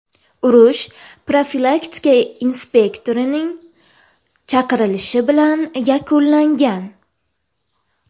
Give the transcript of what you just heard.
Urush profilaktika inspektorining chaqirilishi bilan yakunlangan.